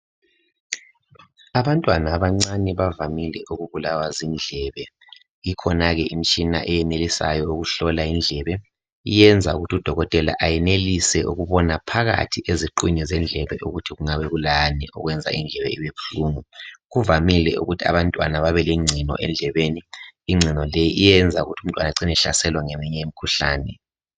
Abantwana abancane bavamile ukubulawa zindlebe. lkhona ke imitshina eyenelisayo ukuhlola indlebe. Iyenza ukuthi udokotela ayenelise ukubona phakathi endlebenni ukuthi kungabe kulani. Kuyenzeka ukuthi umntwana abe lengcino endlebeni. Ingcino leyi iyenza ukuthi umntwana lowu acine ehlaselwa ngeminye imikhuhlane.